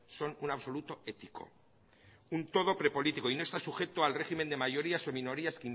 son un absoluto ético un todo prepolítico y no está sujeto al régimen de mayorías o minorías